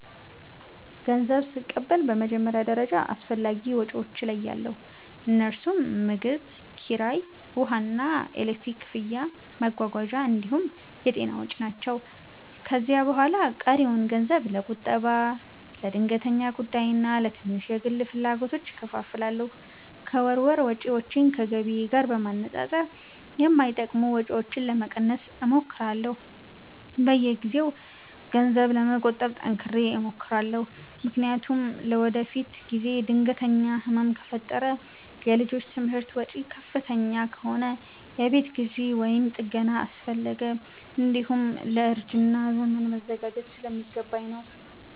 ገንዘብ ስቀበል በመጀመሪያ ደረጃ አስፈላጊ ወጪዎቼን እለያለሁ፤ እነርሱም ምግብ፣ ኪራይ፣ ውሃና ኤሌክትሪክ ክፍያ፣ መጓጓዣ እንዲሁም የጤና ወጪ ናቸው። ከዚያ በኋላ ቀሪውን ገንዘብ ለቁጠባ፣ ለድንገተኛ ጉዳይና ለትንሽ የግል ፍላጎቶች እከፋፍላለሁ። ከወር ወር ወጪዎቼን ከገቢዬ ጋር በማነጻጸር የማይጠቅሙ ወጪዎችን ለመቀነስ እሞክራለሁ። በየጊዜው ገንዘብ ለመቆጠብ ጠንክሬ እሞክራለሁ፤ ምክንያቱም ለወደፊት ጊዜ ድንገተኛ ህመም ከፈጠረ፣ የልጆች ትምህርት ወጪ ከፍተኛ ከሆነ፣ የቤት ግዢ ወይም ጥገና አስፈለገ፣ እንዲሁም ለእርጅና ዘመን መዘጋጀት ስለሚገባኝ ነው።